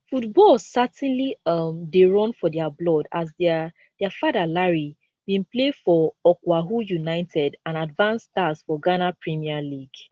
football certainly um dey run for dia blood as dia dia father larry bin play for okwahu united and advance stars for ghana premier league